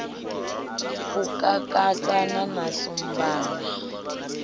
u kakatana na shumba na